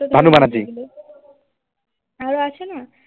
আরো আছে না